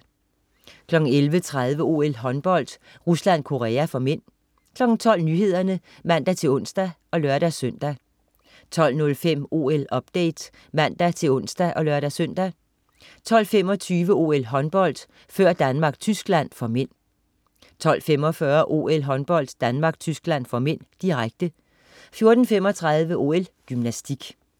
11.30 OL: Håndbold, Rusland-Korea (m) 12.00 Nyhederne (man-ons og lør-søn) 12.05 OL-update (man-ons og lør-søn) 12.25 OL: Håndbold, før Danmark-Tyskland (m) 12.45 OL: Håndbold, Danmark-Tyskland (m), direkte 14.35 OL: Gymnastik